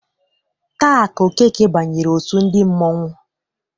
Taa ka Okeke banyere òtù ndị mmanwu.